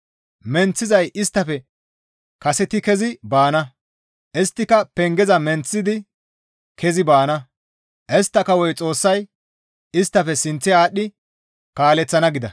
Menththizay isttafe kaseti kezi baana; isttika pengeza menththidi kezi baana; istta kawoy Xoossay isttafe sinththe aadhdhi kaaleththana» gida.